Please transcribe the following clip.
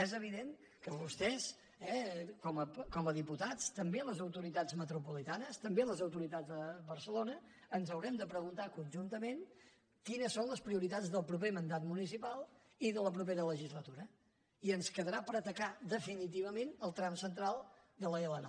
és evident que vostès com a diputats també les autoritats metropolitanes també les autoritats de barcelona ens haurem de preguntar conjuntament quines són les prioritats del proper mandat municipal i de la propera legislatura i ens quedarà per atacar definitivament el tram central de l’l9